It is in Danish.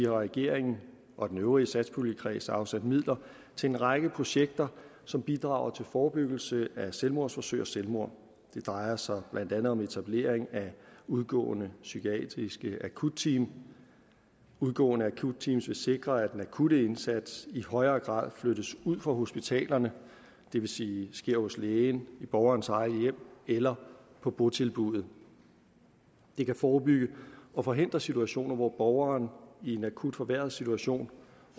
regeringen og den øvrige satspuljekreds afsat midler til en række projekter som bidrager til forebyggelse af selvmordsforsøg og selvmord det drejer sig blandt andet om etablering af udgående psykiatriske akutteam udgående akutteam vil sikre at den akutte indsats i højere grad flyttes ud fra hospitalerne det vil sige sker hos lægen i borgerens eget hjem eller på botilbuddet det kan forebygge og forhindre situationer hvor borgeren i en akut forværret situation